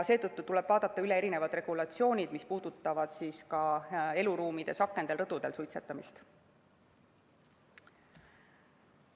Seetõttu tuleb vaadata üle regulatsioonid, mis puudutavad ka eluruumides, akendel ja rõdudel suitsetamist.